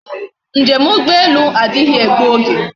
Njem ugbo elu adighi egbu oge